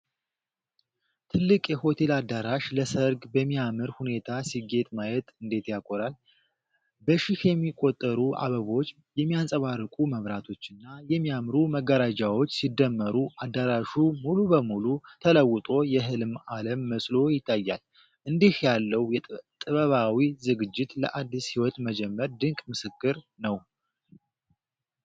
ትልቁ የሆቴል አዳራሽ ለሰርግ በሚያምር ሁኔታ ሲጌጥ ማየት እንዴት ያኮራል! በሺህ የሚቆጠሩ አበቦች፣ የሚያንጸባርቁ መብራቶችና የሚያምሩ መጋረጃዎች ሲደመሩ አዳራሹ ሙሉ በሙሉ ተለውጦ የህልም-ዓለም መስሎ ይታያል። እንዲህ ያለው ጥበባዊ ዝግጅት ለአዲስ ሕይወት መጀመር ድንቅ ምስክር ነው።